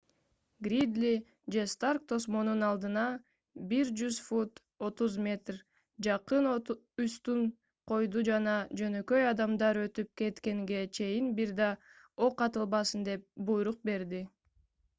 гридли же старк тосмонун алдына 100 фут 30 м. жакын устун койду жана жөнөкөй адамдар өтүп кеткенге чейин бир да ок атылбасын деп буйрук берди